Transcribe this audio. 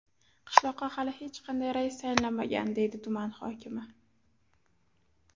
Qishloqqa hali hech qanday rais tayinlanmagan, deydi tuman hokimi.